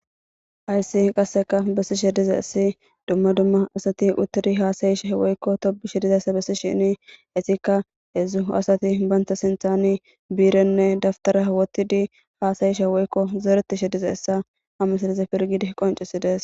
Haysi qasse besshn dizayssi duma duma assati utidi hasaeshin woykko topesh dizzaysa besish etika heththu assati bantasinthan birene daftare wotiddi hassaeshn woykko zoretshn dizzaysassa hamesrten gidi konchises